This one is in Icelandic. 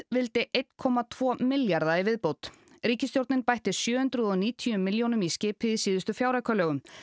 vildi einn komma tvo milljarða í viðbót ríkisstjórnin bætti sjö hundruð og níutíu milljónum í skipið í síðustu fjáraukalögum